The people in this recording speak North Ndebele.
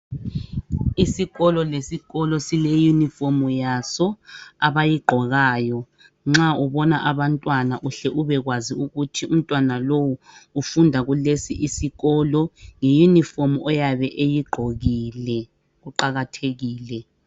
Isikolo lesikolo sileuniform yaso abayigqokayo. Nxa ubona abantwana uhle ubekwazi ukuthi umntwana lowu ufunda kulesi isikolo nge uniform oyabe eyigqokile kuqakathekile.